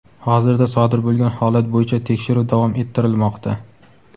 Hozirda sodir bo‘lgan holat bo‘yicha tekshiruv davom ettirilmoqda.